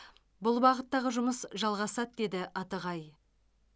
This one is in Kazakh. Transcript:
бұл бағыттағы жұмыс жалғасады деді атығай